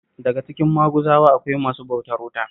Daka cikin Maguzawa akwai masu bautar wuta